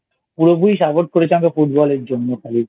পুরোপুরি Support করেছে আমাকে Football এর জন্য খালি